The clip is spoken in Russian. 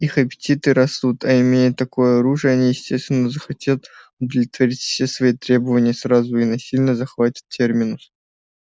их аппетиты растут а имея такое оружие они естественно захотят удовлетворить все свои требования сразу и насильно захватят терминус